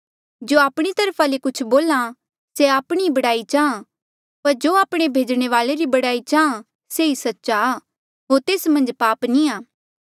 जो आपणी तरफा ले कुछ बोल्हा से आपणी ई बड़ाई चाहां पर जो आपणे भेजणे वाले री बड़ाई चाहां से ई सच्चा आ होर तेस मन्झ पाप नी आ